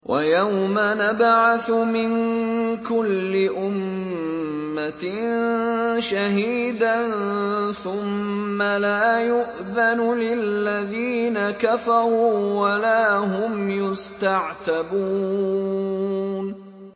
وَيَوْمَ نَبْعَثُ مِن كُلِّ أُمَّةٍ شَهِيدًا ثُمَّ لَا يُؤْذَنُ لِلَّذِينَ كَفَرُوا وَلَا هُمْ يُسْتَعْتَبُونَ